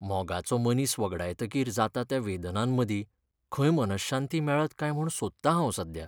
मोगाचो मनीस वगडायतकीर जाता त्या वेदनांमदीं खंय मनःशांती मेळत काय म्हूण सोदतां हांव सध्या.